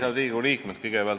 Head Riigikogu liikmed!